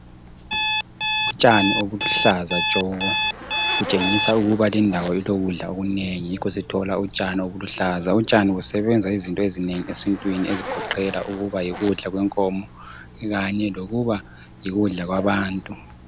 Utshani obuluhlaza tshoko, kutshengisa ukuba lindawo ilokudla okunengi yikho sithola utshani obuluhlaza. Utshani busebenza izinto ezinengi esintwini ezigoqela ukuba yikudla kwenkomo kanye lokuba yikudla kwabantu.